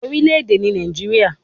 Orílè èdè ni Nàìjíríà